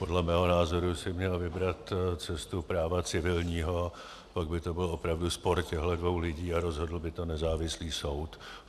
Podle mého názoru si měl vybrat cestu práva civilního, pak by to byl opravdu spor těchto dvou lidí a rozhodl by to nezávislý soud.